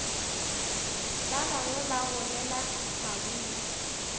ba bangwe ba golela maburu